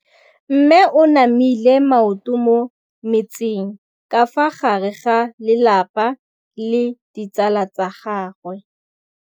Mme o namile maoto mo mmetseng ka fa gare ga lelapa le ditsala tsa gagwe.